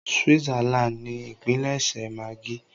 Switzerland ni ipílẹṣẹ maggi.